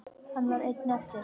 Hann var einn eftir.